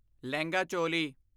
lehenga choli